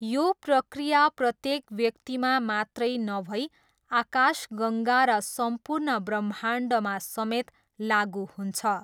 यो प्रक्रिया प्रत्येक व्यक्तिमा मात्रै नभई आकाशगङ्गा र सम्पूर्ण ब्रह्माण्डमा समेत लागु हुन्छ।